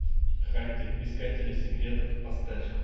хантик искатели секретов поставь